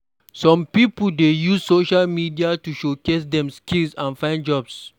Some pipo dey use social media to showcase dem skills and find jobs.